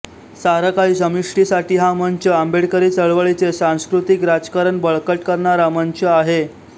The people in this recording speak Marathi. सारं काही समष्टीसाठी हा मंच आंबेडकरी चळवळीचे सांस्कृतिक राजकारण बळकट करणारा मंच आहे